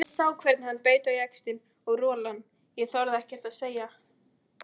Ég sá hvernig hann beit á jaxlinn og rolan ég þorði ekkert að segja.